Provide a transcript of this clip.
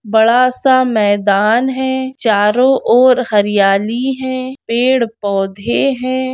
बड़ा सा मैदान है चारो और हरियाली है पेड़ पौधे हैं।